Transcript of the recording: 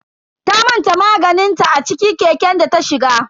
Ta manta maganinta a ciki keken data shiga.